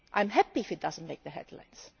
I am happy if it does not make the headlines.